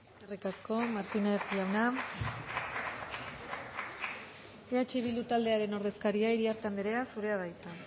eskerrik asko eskerrik asko martínez jauna eh bildu taldearen ordezkaria iriarte anderea zurea da hitza